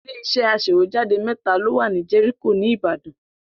Ilé-iṣẹ́ aṣèwéjádé mẹ́ta ló wà ní Jẹ́ríkò ní Ìbàdàn.